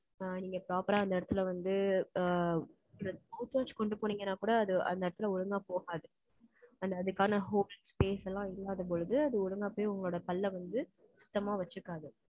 ஆ, நீங்க proper ஆ அந்த இடத்துல வந்து, ஆ, mouthwash கொண்டு போனீங்கன்னா கூட, அது அந்த இடத்துல ஒழுங்கா போகாது. ஆனா, அதுக்கான holes space எல்லாம் இல்லாத பொழுது, அது ஒழுங்கா போய், உங்களோட பல்லை வந்து, சுத்தமா வச்சுக்காது